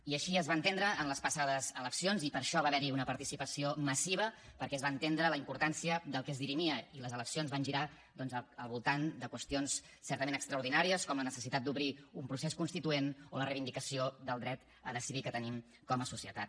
i així es va entendre en les passades eleccions i per això va haver hi una participació massiva perquè es va entendre la importància del que es dirimia i les eleccions van girar doncs al voltant de qüestions certament extraordinàries com la necessitat d’obrir un procés constituent o la reivindicació del dret a decidir que tenim com a societat